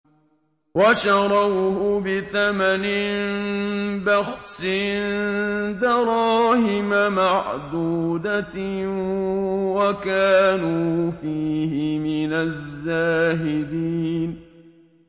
وَشَرَوْهُ بِثَمَنٍ بَخْسٍ دَرَاهِمَ مَعْدُودَةٍ وَكَانُوا فِيهِ مِنَ الزَّاهِدِينَ